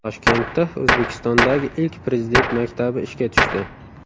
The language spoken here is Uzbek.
Toshkentda O‘zbekistondagi ilk Prezident maktabi ishga tushdi.